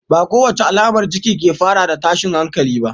Ba kowace alamar ciki ke fara da tashin hankali ba.